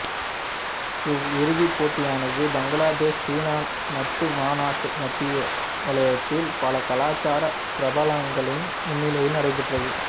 இவ் இறுதிப்போட்டியானது பங்களாதேஷ் சீனா நட்பு மாநாட்டு மத்தியநிலையத்தில் பல கலாச்சார பிரபல்யங்களின் முன்னிலையில் நடைபெற்றது